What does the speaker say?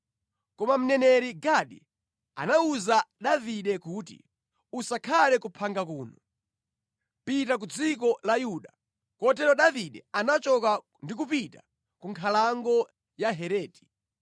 Koma mneneri Gadi anawuza Davide kuti, “Usakhale ku phanga kuno. Pita ku dziko la Yuda.” Kotero Davide anachoka ndi kupita ku nkhalango ya Hereti.